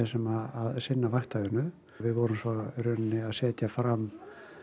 sem vinna vaktavinnu við vorum svo að setja fram